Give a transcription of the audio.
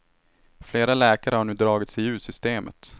Flera läkare har nu dragit sig ur systemet.